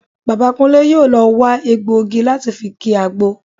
Bàbá Kúnlé yóò lọ wa egbọ̀ igi láti fi ki àgbo